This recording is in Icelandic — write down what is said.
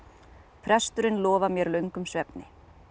presturinn lofar mér löngum svefni